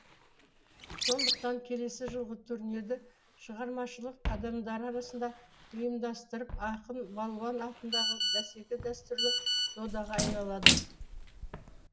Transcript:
сондықтан келесі жылғы турнирді шығармашылық адамдары арасында ұйымдастырып ақын балуан атындағы бәсеке дәстүрлі додаға айналады